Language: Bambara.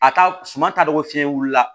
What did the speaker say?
A ka suma ka dɔgɔ fiyɛn wuli la